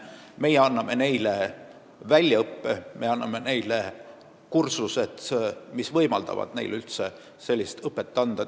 Me anname neile väljaõppe, me korraldame neile kursusi, mis võimaldavad neil üldse sellist õpetust anda.